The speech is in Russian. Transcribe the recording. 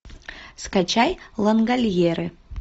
скачай лангольеры